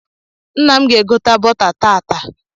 Nna m ga-egota bọta tat taa.